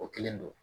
O kelen don